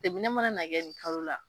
Seginnin mana na kɛ ni kalo la